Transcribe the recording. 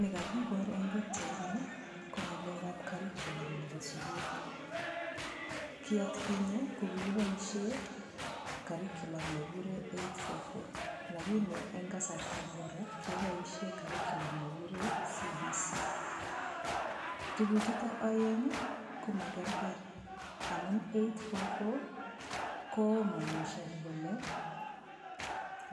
Ni kakibor eng' pikchaini ko ng'alekab curriculum nebo sukul ki atkinye ko kikiboishe curriculum nekikure 8-4-4 lakini eng' kasarta nebo ra keboishe curriculum nekikure CBC tukuchuto oeng' komakergei amun 8-4-4 komonishoni kole